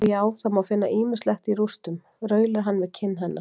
Og já, það má finna ýmislegt í rústum, raular hann við kinn hennar.